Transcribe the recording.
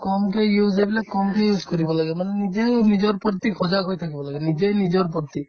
কমকে use এইবিলাক কমকে use কৰিব লাগে মানে নিজেও নিজৰ প্ৰতি সজাগ হৈ থাকিব লাগে নিজে নিজৰ প্ৰতি